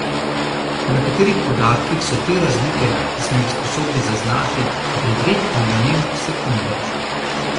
Po nekaterih podatkih so te razlike, ki smo jih sposobni zaznati, devet milijonink sekunde.